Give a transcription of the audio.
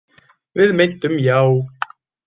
Við meintum já.